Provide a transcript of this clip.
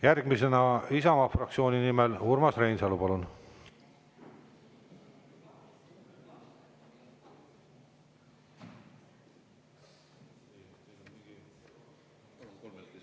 Järgmisena Isamaa fraktsiooni nimel Urmas Reinsalu, palun!